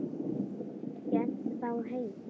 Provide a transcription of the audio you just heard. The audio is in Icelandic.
Hélt þá heim.